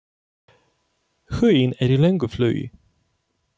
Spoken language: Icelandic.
Huginn er í löngu flugi.